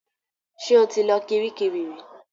Ṣe ó ti lọ Kiríkirì rí?